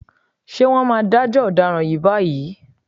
Ṣé wọ́n máa dájọ́ ọ̀daràn yìí báyìí?